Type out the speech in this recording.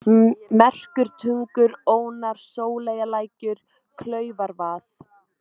Merkurtungur, Ónar, Sóleyjarlækur, Klaufarvað